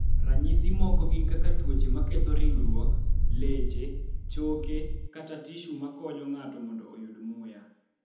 Ranyisi moko gin kaka tuoche ma ketho ringruok, leche, choke, kata tishu ma konyo ng�ato mondo oyud muya.